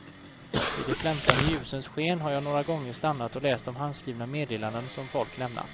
I de flämtande ljusens sken har jag några gånger stannat och läst de handskrivna meddelandena som folk lämnat.